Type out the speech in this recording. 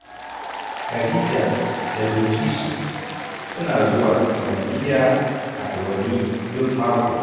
Khadija da Bilkisu suna zuwa islamiyya a Ɗorayi duk mako.